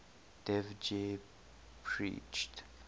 dev ji preached